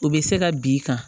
O bɛ se ka b'i kan